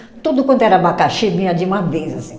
Tudo quanto era abacaxi vinha de uma vez, assim